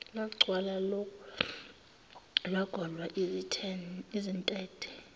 lwagcwala lwagola izintethe